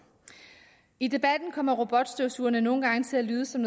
i debatten kommer robotstøvsugerne nogle gange til at lyde som